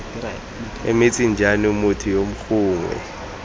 emetseng jaanong motho yo gongwe